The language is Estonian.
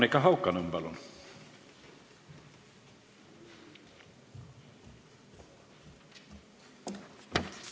Monika Haukanõmm, palun!